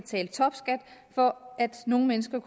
for nogle mennesker